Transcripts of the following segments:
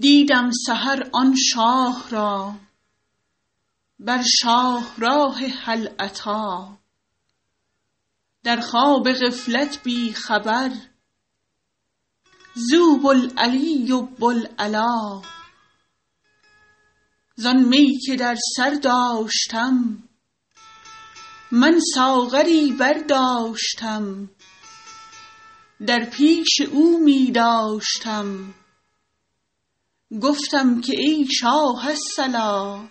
دیدم سحر آن شاه را بر شاهراه هل اتی در خواب غفلت بی خبر زو بوالعلی و بوالعلا زان می که در سر داشتم من ساغری برداشتم در پیش او می داشتم گفتم که ای شاه الصلا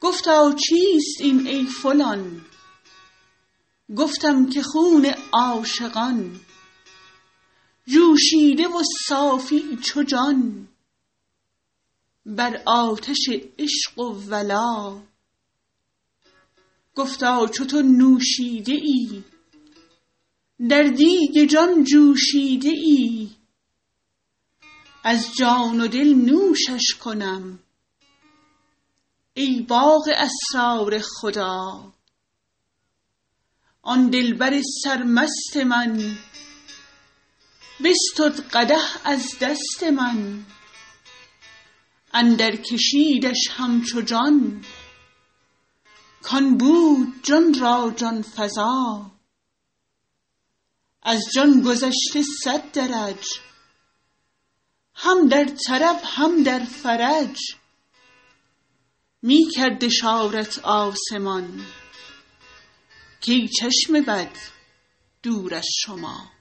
گفتا چیست این ای فلان گفتم که خون عاشقان جوشیده و صافی چو جان بر آتش عشق و ولا گفتا چو تو نوشیده ای در دیگ جان جوشیده ای از جان و دل نوشش کنم ای باغ اسرار خدا آن دلبر سرمست من بستد قدح از دست من اندرکشیدش همچو جان کان بود جان را جان فزا از جان گذشته صد درج هم در طرب هم در فرج می کرد اشارت آسمان کای چشم بد دور از شما